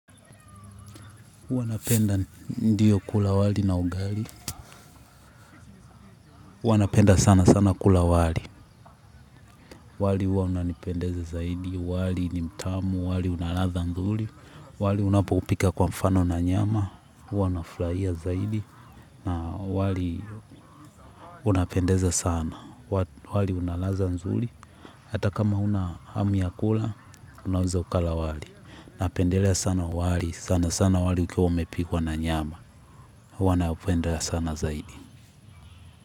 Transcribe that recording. Huanapenda ndiyo kula wali na ugali. Hua napenda sana sana kula wali. Wali huwa unanipendeza zaidi. Wali nimtamu. Wali unalatha nzuli. Wali unapopika kwa mfano na nyama. Huanaflaia zaidi. Na wali unapendeza sana. Wali unalatha nzuli. Hata kama una hamu ya kula, unaweza ukala wali. Napendelea sana wali. Sana sana wali ukiwa umepikuwa na nyama. Hua napenda sana zaidi.